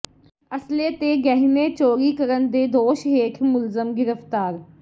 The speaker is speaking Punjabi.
ਅਸਲੇ ਤੇ ਗਹਿਣੇ ਚੋਰੀ ਕਰਨ ਦੇ ਦੋਸ਼ ਹੇਠ ਮੁਲਜ਼ਮ ਗ੍ਰਿਫ਼ਤਾਰ